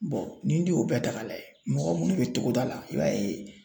ni den y'o bɛɛ ta ka lajɛ mɔgɔ munnu bɛ togoda la i b'a ye